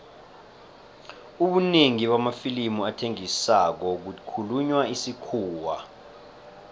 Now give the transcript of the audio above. ubunengi bamafilimu athengisako kukhulunywa isikhuwa